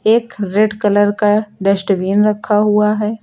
एक red colour का dustbin रखा हुआ है।